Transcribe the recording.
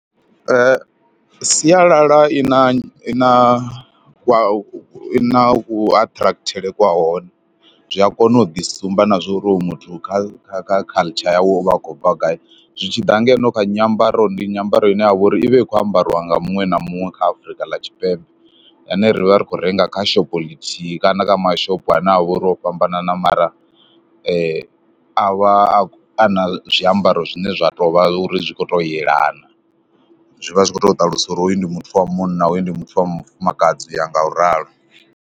sialala i na i na kwa i na kuaṱhikurathele kha hone, zwi a kona u ḓisumba na zwa uri uyu muthu kha kha culture yawe u vha a khou bva gai. Zwi tshi ḓa ngeno kha nyambaro, ndi nyambaro ine ya vha uri i vha i khou ambariwa nga muṅwe na muṅwe kha Afrika ḽa Tshipembe ane ri vha ri khou renga kha shopho ḽithihi kana kha mashopho ane a vha uri o fhambanana mara a vha a na zwiambaro zwine zwa tou vha uri zwi khou tou yelana. Zwi vha zwi khou tou ṱalusa uri hoyu ndi muthu wa munna, hoyu ndi muthu wa mufumakadzi, u ya ngauralo.